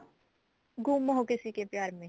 ਗੁੰਮ ਹੋ ਕਿਸੀ ਕੇ ਪਿਆਰ ਮੇ